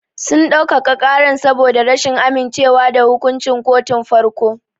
Sun dau-kaka ƙaran saboda rashin amince wa da hukunci kotun farko.